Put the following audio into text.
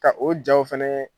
Ka o jaw fana